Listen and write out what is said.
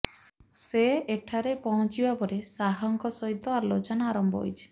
ସେ ଏଠାରେ ପହଞ୍ଚିବା ପରେ ଶାହଙ୍କ ସହିତ ଆଲୋଚନା ଆରମ୍ଭ ହୋଇଛି